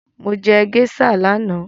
Mo jẹ géíṣà lánàá